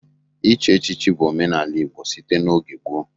Ichi echichi bụ omenala Igbo site n'oge gboo.